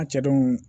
An cɛ dun